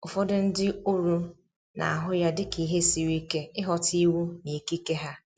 Ụfọdụ ndi oru na ahụ ya dị ka ihe siri ike ịghọta iwu na ikike ha